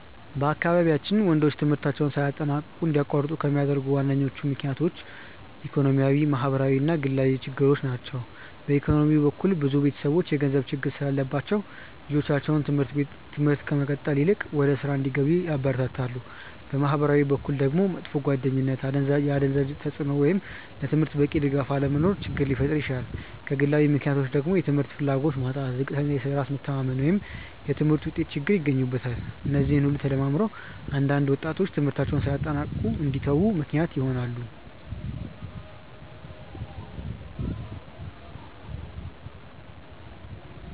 በአካባቢያችን ወንዶች ትምህርታቸውን ሳያጠናቅቁ እንዲያቋርጡ ከሚያደርጉ ዋነኞቹ ምክንያቶች ኢኮኖሚያዊ፣ ማህበራዊ እና ግላዊ ችግሮች ናቸው። በኢኮኖሚ በኩል ብዙ ቤተሰቦች የገንዘብ ችግር ስላለባቸው ልጆቻቸው ትምህርት ከመቀጠል ይልቅ ወደ ሥራ እንዲገቡ ያበረታታሉ። በማህበራዊ በኩል ደግሞ መጥፎ ጓደኝነት፣ የአደንዛዥ እፅ ተጽእኖ ወይም ለትምህርት በቂ ድጋፍ አለመኖር ችግር ሊፈጥር ይችላል። ከግላዊ ምክንያቶች ደግሞ የትምህርት ፍላጎት ማጣት፣ ዝቅተኛ የራስ መተማመን ወይም የትምህርት ውጤት ችግር ይገኙበታል። እነዚህ ሁሉ ተደማምረው አንዳንድ ወጣቶች ትምህርታቸውን ሳያጠናቅቁ እንዲተዉ ምክንያት ይሆናሉ።